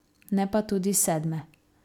Ne pa tudi sedme.